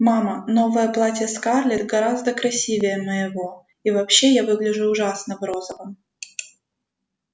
мама новое платье скарлетт гораздо красивее моего и вообще я выгляжу ужасно в розовом